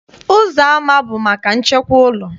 Ụzọama bụ maka nchekwa ụlọ.